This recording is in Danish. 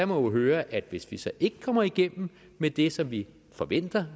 må høre at hvis vi så ikke kommer igennem med det som vi forventer